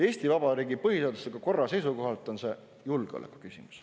Eesti Vabariigi põhiseadusliku korra seisukohalt on see julgeolekuküsimus.